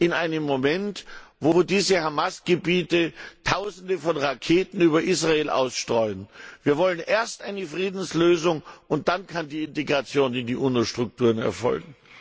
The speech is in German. in einem Moment, in dem die Hamas Gebiete Tausende von Raketen über Israel ausstreuen. Wir wollen erst eine Friedenslösung, und dann kann die Integration in die UNO Strukturen erfolgen!